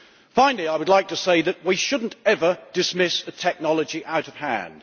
Finally, I would like to say that we should never dismiss a technology out of hand.